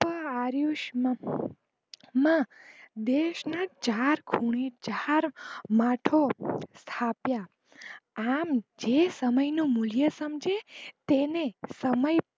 આર્યુષમતમાં દેશ ના ચાર ખૂણે ચાર માથા સ્થાપ્યા આમ જે સમય નું મૂલ્ય સમજે તેને સમય